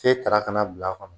Fe tara ka na bil'a kɔnɔ